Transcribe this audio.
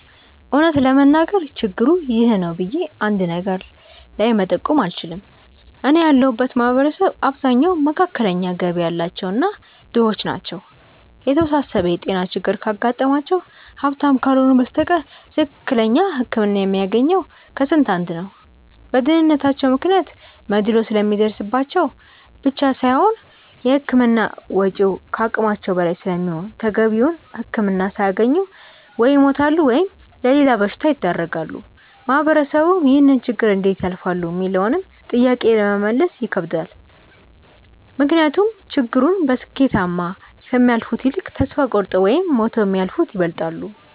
እውነት ለመናገር ችግሩ 'ይህ ነው' ብዬ አንድ ነገር ላይ መጠቆም አልችልም። እኔ ያለሁበት ማህበረሰብ አብዛኛው መካከለኛ ገቢ ያላቸው እና ድሆች ናቸው። የተወሳሰበ የጤና ችግር ካጋጠማቸው ሀብታም ካልሆኑ በስተቀር ትክክለኛ ህክምና የሚያገኘው ከስንት አንድ ነው። በድህነታቸው ምክንያት መድሎ ስለሚደርስባቸው ብቻ ሳይሆን የህክምና ወጪው ከአቅማቸው በላይ ስለሚሆን ተገቢውን ህክምና ሳያገኙ ወይ ይሞታሉ ወይም ለሌላ በሽታ ይዳረጋሉ። ማህበረሰቡም ይህንን ችግር እንዴት ያልፋሉ ሚለውንም ጥያቄ ለመመለስ ይከብዳል። ምክንያቱም ችግሩን በስኬታማ ከሚያልፉት ይልቅ ተስፋ ቆርጠው ወይም ሞተው የሚያልፉት ይበልጣሉ።